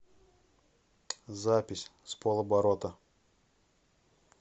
запись с полоборота